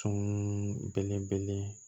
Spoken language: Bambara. Fɛn minnu bɛlebele